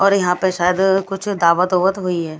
और यहाँ पर शायद कुछ दावत उवत हुई है।